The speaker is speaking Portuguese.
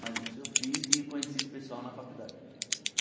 Mas isso eu fiz e conheci esse pessoal na faculdade.